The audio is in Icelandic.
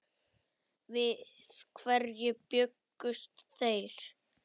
Við hverju bjuggust þeir?